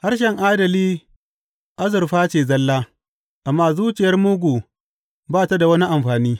Harshen adali azurfa ce zalla, amma zuciyar mugu ba ta da wani amfani.